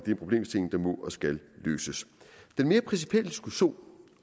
en problemstilling der må og skal løses den mere principielle diskussion